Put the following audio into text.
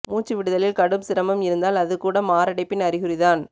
முச்சு விடுதலில் கடும் சிரமம் இருந்தால் அது கூட மாரடைப்பின் அறிகுறி தான்